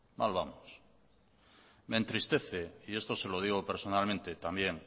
mal vamos me entristece y esto se lo digo personalmente también